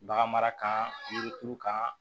Bagan mara kan yiri turu kan